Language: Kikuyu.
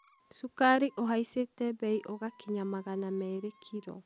Cukari ũhaicite bei ũgakinya magana meerĩ kiro